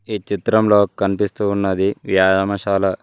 ఈ చిత్రంలో కనిపిస్తూ ఉన్నది వ్యాయామసాల.